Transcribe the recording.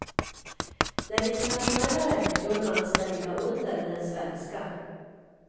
Den internationella räntekurvan ska ligga under den svenska.